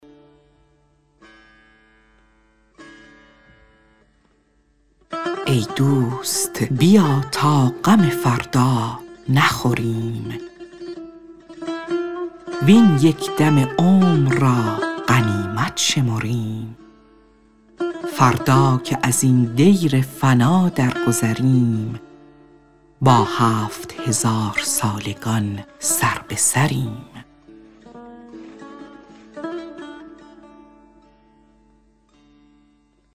ای دوست بیا تا غم فردا نخوریم وین یک دم عمر را غنیمت شمریم فردا که ازین دیر فنا درگذریم با هفت هزارسالگان سربه سریم